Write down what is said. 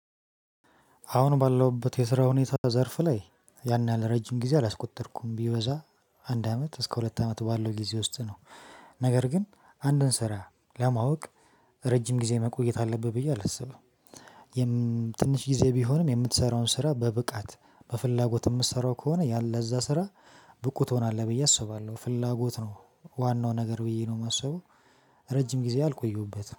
አሁን ባለሁበት የስራ ሁኔታ ዘርፍ ላይ ያን ያህል ረጅም ጊዜ አላስቆጠርኩም ቢበዛ አንድ አመት እስከ ሁለት አመት ባለው ጊዜ ውስጥ ነው። ነገር ግን አንድን ስራ ለማወቅ ረጅም ጊዜ መቆየት አለብህ ብዬ አላስብም። የም ትንሽ ጊዜ ቢሆንም የምትሰራውን ስራ በብቃት በፍላጎት የምትሰራው ከሆነ ያን ለዛ ስራ ብቁ ትሆናለህ ብዬ አስባለሁ ፍላጎት ነው ዋናው ነገር ብዬ ነው የማስበው። ረጅም ጊዜ አልቆየሁበትም